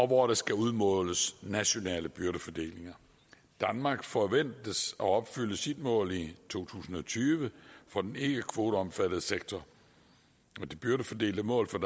hvor der skal udmåles nationale byrdefordelinger danmark forventes at opfylde sit mål i to tusind og tyve for den ikkekvoteomfattede sektor det byrdefordelte mål for